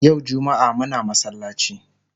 Yau jummaa Muna masallaci